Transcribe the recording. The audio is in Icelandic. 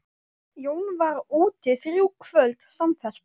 Jón var úti þrjú kvöld samfellt.